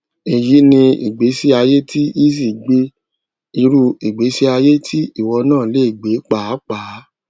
èyí ni ìgbésí ayé ti eazi gbé irú ìgbésí ayé tí ìwọ náà lè gbé pàápàá